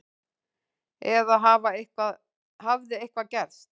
Eða hafði eitthvað gerst?